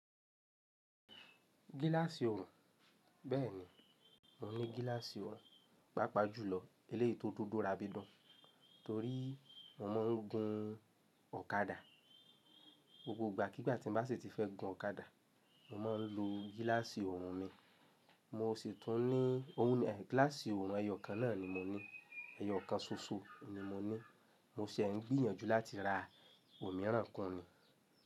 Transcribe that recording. Gíláàsì ọrùn, bẹ́ẹ̀ni mo ní gíláàsì ọrùn, pàápàá jùlọ eléyìí tó tó dúró abidán, torí mo máa ń gun ọ̀kadà. Gbogbo ìgbà kí ìgbà tí mo bá sì ti fẹ́ gun ọ̀kadà, mo máa ń lo gíláàsì ọrùn mi. Mo sì tún ní, òun gíláàsì ọrùn ẹyọ̀ kan náà ni mo ní, ẹyọ̀ kan ṣoṣo ni mo ní, mo sì ń gbìyànjú láti ra òmíràn kan ni.